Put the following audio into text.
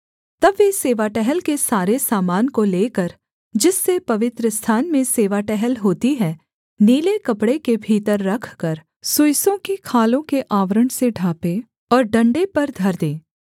तब वे सेवा टहल के सारे सामान को लेकर जिससे पवित्रस्थान में सेवा टहल होती है नीले कपड़े के भीतर रखकर सुइसों की खालों के आवरण से ढाँपें और डण्डे पर धर दें